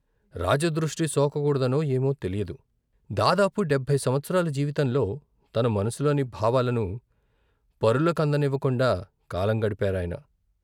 రాజదృష్టి సోకకూడదనో ఏమో తెలియదు దాదాపు డెబ్బయి సంవత్సరాల జీవితంలో తన మనసులోని భావాలను పరుల కందనివ్వకుండా కాలం గడిపారాయన.